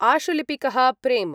आशुलिपिकः प्रेम